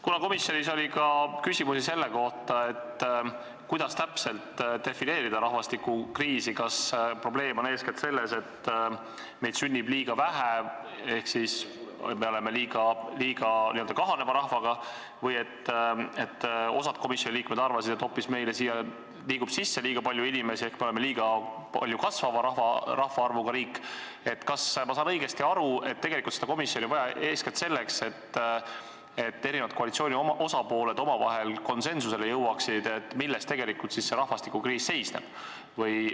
Kuna komisjonis oli küsimusi ka selle kohta, kuidas täpselt defineerida rahvastikukriisi, kas probleem on eeskätt selles, et meid sünnib liiga vähe ehk meie rahvaarv on liiga kahanev, või nagu osa komisjoni liikmeid arvasid, et meile liigub siia hoopis sisse liiga palju inimesi ehk meie riigi rahvaarv kasvab liiga palju, siis kas ma saan õigesti aru, et seda komisjoni on vaja eeskätt selleks, et koalitsiooni osapooled omavahel konsensusele jõuaksid, milles tegelikult see rahvastikukriis seisneb?